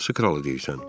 Hansı kralı deyirsən?